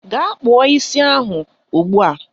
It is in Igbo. Ga kpụọ isi ahụ ugbua!